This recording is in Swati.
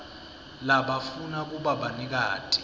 labafuna kuba banikati